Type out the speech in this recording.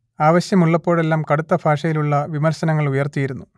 ആവശ്യമുള്ളപ്പോഴെല്ലാം കടുത്ത ഭാഷയിലുള്ള വിമർശനങ്ങളുയർത്തിയിരുന്നു